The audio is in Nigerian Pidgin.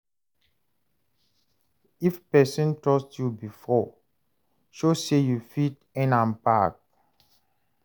If pesin trust yu bifor, show say yu fit earn am back.